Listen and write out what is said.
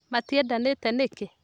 Matiendanĩte nĩkĩ?